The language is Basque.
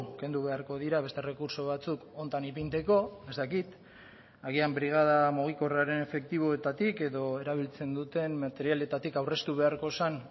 kendu beharko dira beste errekurtso batzuk honetan ipintzeko ez dakit agian brigada mugikorraren efektiboetatik edo erabiltzen duten materialetatik aurreztu beharko zen